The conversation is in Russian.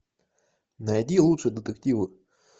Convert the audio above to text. найди лучшие детективы